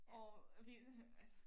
Og ved altså